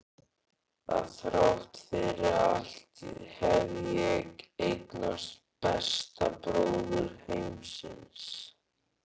Að þrátt fyrir allt hef ég eignast besta bróður heimsins.